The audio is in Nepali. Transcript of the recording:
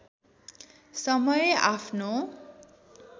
समय आफ्नो